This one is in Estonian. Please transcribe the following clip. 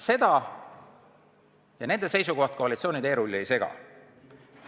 Ent nende seisukoht koalitsiooni teerulli ei sega.